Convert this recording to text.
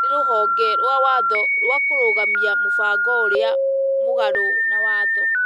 nĩ rũhonge rwa watho rwa kũrũgamia mũbango ũrĩ mũgarũ na watho,